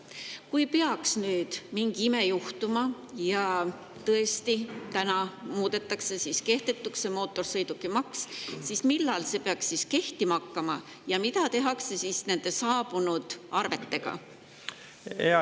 Kui peaks mingi ime juhtuma ja täna tõesti muudetakse mootorsõidukimaksu kehtetuks, siis millal see peaks kehtima hakkama ja mida tehakse nende saabunud arvetega?